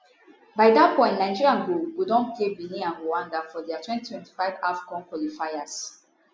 by dat point nigeria go go don play benin and rwanda for dia 2025 afcon qualifiers